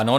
Ano.